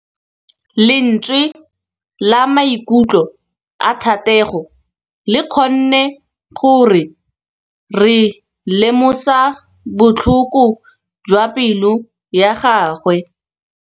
Lentswe la maikutlo a Thategô le kgonne gore re lemosa botlhoko jwa pelô ya gagwe.